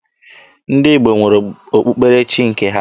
Ndị Igbo nwere okpukperechi nke ha.